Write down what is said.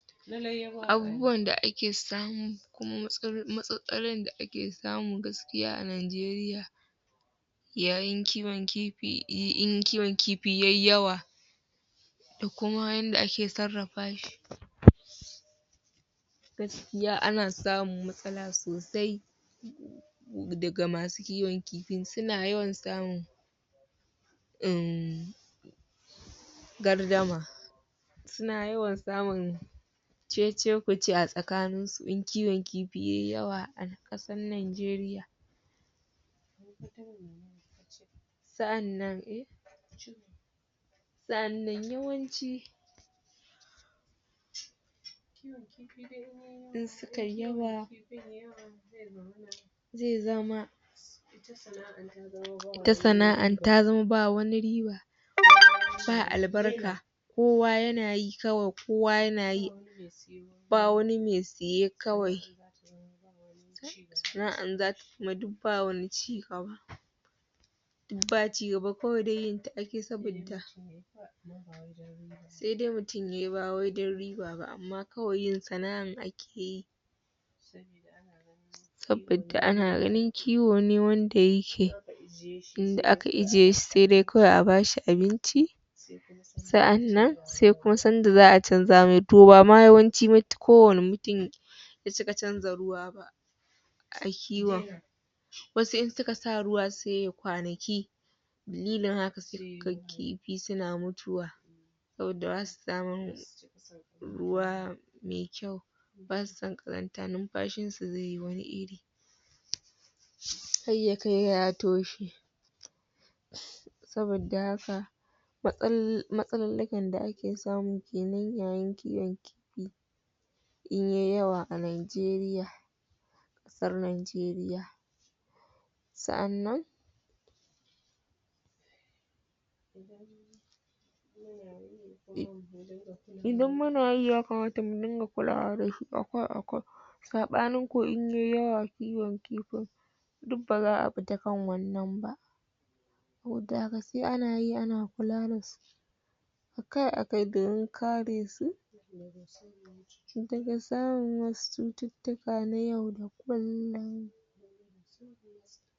Abubuwan da ake samu kuma matsalolin da ake samu gaskiya a Najeriya yayin kiwon kifi in kiwon kifi ya yi yawa da kuma yadda ake sarrafa shi. Gaskiya ana samun matsala sosai. daga masu kiwon kifin. Suna yawan samun um gardama Suna yawan samun ce-ce-ku-ce a tsakaninsu in kiwon kifi ya yi yawa a ƙasar Najeriya. sa'annan sa'annan yawanci in suka yi yawa zai zama ita sana'ar ba wani riba ba albarka, kowa yana yi kawai, kowa yana yi. ba wani mai saye kawai sana'ar kuma duk ba wani ci gaba. Ba ci gaba, kawai dai yinta ake yi saboda sai dai mutum ya yi ba amma kawai yin sana'ar ake yi saboda ana ganin kiwo ne wanda yake inda aka ajiye shi sai dai kawai a ba shi abinci. Sa'annan sai kuma sanda za a canja masa. To ba ma yawanci ba, kowane mutum bai cika canja ruwa ba a kiwon. Wasu in suka sa ruwa sai ya yi kwanaki dalilin haka sai ka ga kifi suna mutuwa saboda ba su samun ruwa mai kyau. Ba su son ƙazanta, numfashinsu zai yi wani iri, har ya kai ga ya toshe. Saboda haka, matsalullukan da ake samu ke nan yayin kiwon kifi in ya yi yawa a Najeriya, ƙasar Najeriya. Sa'annan Idan muna yi, ya kamata mu dinga kulawa da a-kai a-kai saɓanin kuwa in ya yi yawa kiwon kifin, duk ba za a fita kan wannan ba Saboda haka sai ana yi ana kula da su a-ka a-kai domin kare su daga samun wasu cututtuka na yau da kullum.